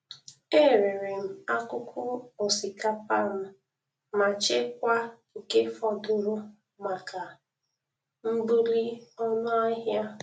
Erere m akụkụ osikapa m machekwa nke fọdụrụ maka mbuli ọnụ ahia.